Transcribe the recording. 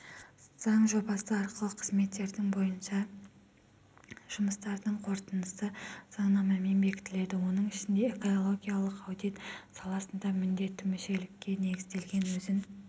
заң жобасы арқылы қызметтердің бойынша жұмыстардың қорытындысы заңнамамен бекітіледі оның ішіндеэкологиялық аудит саласында міндеттімүшелікке негізделген өзін